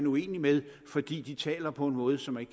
uenig med fordi de taler på en måde som man